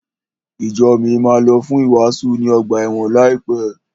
Ìjo mi máa lọ fún ìwàásù ní ọgbà ẹ̀wọ̀n láìpẹ́.